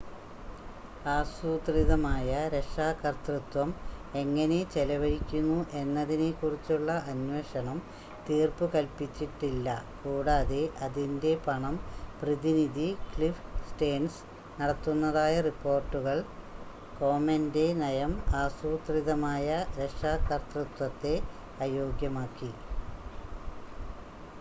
ആസൂത്രിതമായ രക്ഷാകർതൃത്വം എങ്ങനെ ചെലവഴിക്കുന്നു എന്നതിനെക്കുറിച്ചുള്ള അന്വേഷണം തീർപ്പുകൽപ്പിച്ചിട്ടില്ല കൂടാതെ അതിൻ്റെ പണം പ്രതിനിധി ക്ലിഫ് സ്റ്റേൺസ് നടത്തുന്നതായ റിപ്പോർട്ടുകൾ കോമെൻ്റെ നയം ആസൂത്രിതമായ രക്ഷാകർതൃത്വത്തെ അയോഗ്യമാക്കി